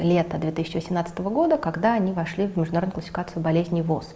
лето две тысячи восемнадцатого года когда они вошли в международную классификацию болезни воз